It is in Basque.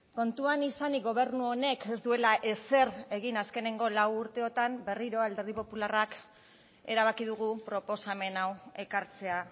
kontuan izanik gobernu honek ez duela ezer egin azkeneko lau urteotan berriro alderdi popularrak erabaki dugu proposamen hau ekartzea